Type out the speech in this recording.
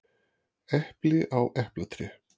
Epli á eplatré.